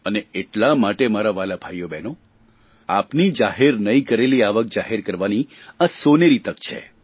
અ એટલા માટે મારા વ્હાલા ભાઇઓ બ્હેનો આપની જાહેર નહીં કરેલ આવક જાહેર કરવાની આ સોનેરી તક છે